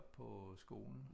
Oppe på skolen